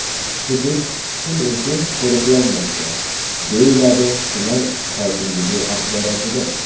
Hudud kun-u tun qo‘riqlanmoqda”, deyiladi tuman hokimligi axborotida.